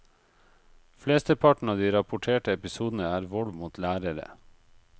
Flesteparten av de rapporterte episodene er vold mot lærere.